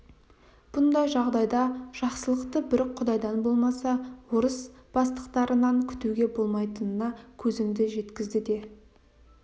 бұндай жағдайда жақсылықты бір құдайдан болмаса орыс бастықтарынан күтуге болмайтынына көзімді жеткізді де